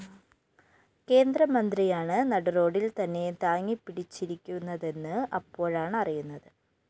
കേന്ദ്രമന്ത്രിയാണ് നടുറോഡിൽ തന്നെ താങ്ങിപിടിച്ചിരിക്കുന്നതെന്ന് അപ്പോഴാണറിയുന്നത്